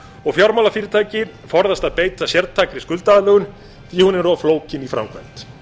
og fjármálafyrirtæki forðast að beita sértækri skuldaaðlögun því að hún er of flókin í framkvæmd